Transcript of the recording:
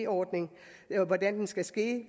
ordning og hvordan den skal ske